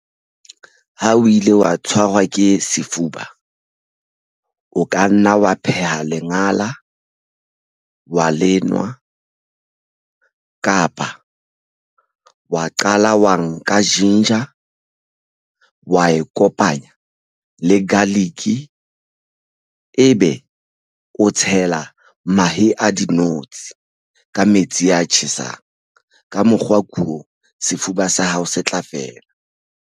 Ha o ile wa tshwarwa ke sefuba o ka nna wa pheha lengala wa lenwa kapa wa qala wa nka ginger wa e kopanya le garlic ebe o tshela mahe a dinotshi ka metsi a tjhesang. Ka mokgwa ko sefuba sa hao se tla fela.